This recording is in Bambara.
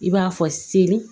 I b'a fɔ seli